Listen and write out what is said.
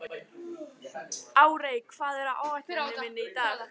Arey, hvað er á áætluninni minni í dag?